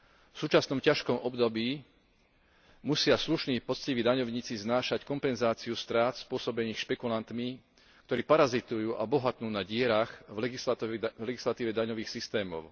V súčasnom ťažkom období musia slušní poctiví daňovníci znášať kompenzáciu strát spôsobených špekulantmi, ktorí parazitujú a bohatnú na dierach v legislatíve daňových systémov.